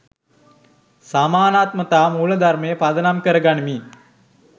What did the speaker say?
සමානාත්මතා මූලධර්මය පදනම කර ගනිමින්